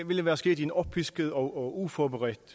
ville være sket i en oppisket og og uforberedt